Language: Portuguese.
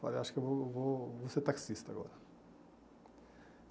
Falei, acho que eu vou vou vou ser taxista agora.